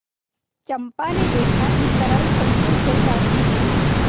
चंपा ने देखा कि तरल संकुल जलराशि में